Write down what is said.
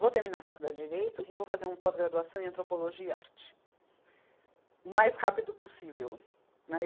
vou terminar a faculdade de Direito e vou fazer uma pós-graduação em Antropologia e Arte, o mais rápido possível. Né, e